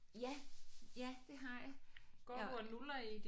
Ja ja det har jeg jeg